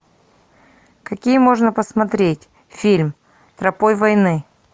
какие можно посмотреть фильм тропой войны